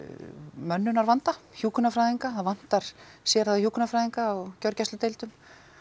mönnunarvanda hjúkrunarfræðinga það vantar sérhæfða hjúkrunarfræðinga á gjörgæsludeildum